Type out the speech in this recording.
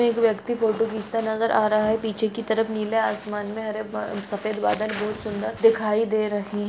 एक व्यक्ति फोटो खिचता नजर आ रहा है पीछे की तरफ नीला असमान में हरे बा सफ़ेद बादल बहुत सुन्दर दिखाई दे रहे--